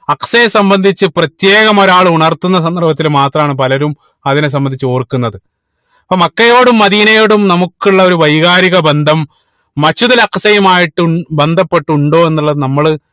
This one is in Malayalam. അക്സയെ സംബന്ധിച്ച് പ്രത്യേകം ഒരാള് ഉണർത്തുന്ന സന്ദർഭത്തിൽ മാത്രാണ് പലരും അതിനെ സംബന്ധിച്ചു ഓർക്കുന്നത് ഇപ്പൊ മക്കയോടും മദീനയോടും നമുക്ക് ഉള്ള ഒരു വൈകാരിക ബന്ധം Masjid ഉൽ അക്‌സയുമായിട്ട് ഉ ബന്ധപ്പെട്ട് ഉണ്ടോ എന്ന് ഉള്ളത് നമ്മള്